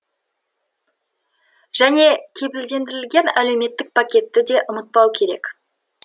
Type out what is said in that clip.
және кепілдендірілген әлеуметтік пакетті де ұмытпау керек